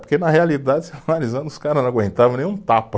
Porque na realidade, você analisando, os caras não aguentava nem um tapa.